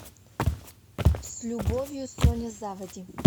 с любовью соня заводи